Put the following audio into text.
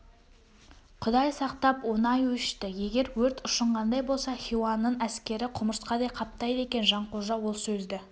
құдай сақтап оңай өшті егер өрт ұшынғандай болса хиуаның әскері құмырсқадай қаптайды екен жанқожа ол сөзді